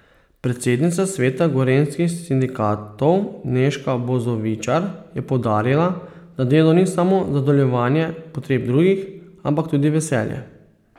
Predsednica sveta gorenjskih sindikatov Nežka Bozovičar je poudarila, da delo ni samo zadovoljevanje potreb drugih, ampak tudi veselje.